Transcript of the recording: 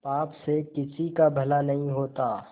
पाप से किसी का भला नहीं होता